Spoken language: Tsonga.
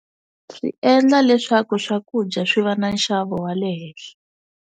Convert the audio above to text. Swi endla leswaku swakudya swi va na nxavo wa le henhla.